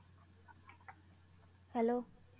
Hello